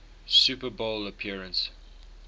super bowl appearance